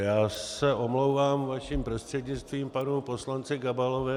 Já se omlouvám, vaším prostřednictvím panu poslanci Gabalovi.